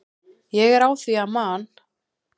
Ég er á því að Man.